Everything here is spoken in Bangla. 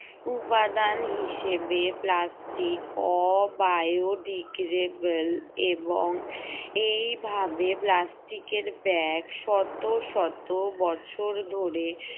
উপাদান হিসেবে plastic অ bio degradable এবং এই ভাবে plastic এর bag শত শত বছর ধরে